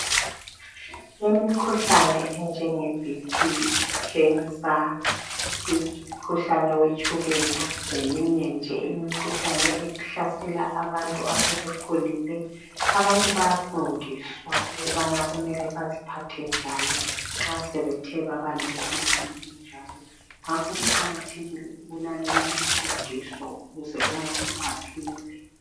Imikhuhlane enjenge BP khensa imikhuhlane yetshukela leminye imkhuhlane ehlasela abantu asebekhulile abantu bayafundiswa ukubana beziphathe njani nxa sebethe baba lemikhuhlane enjalo kuqakathekile ukulalela imfundiso ukuze umuntu aphile